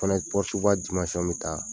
Fana ye pɔrutuba dimansɔn min ta